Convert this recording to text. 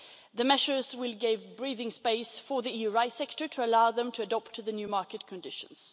The measures will give breathing space for the EU rice sector to allow them to adopt to the new market conditions.